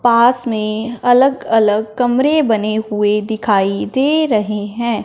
पास में अलग अलग कमरे बने हुए दिखाई दे रहे हैं।